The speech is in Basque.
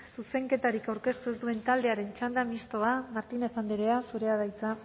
zuzenketarik aurkeztu ez duen taldearen txanda mistoa martínez andrea zurea da hitza